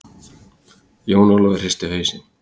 Jón Ólafur hristi hausinn.